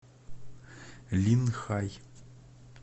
линхай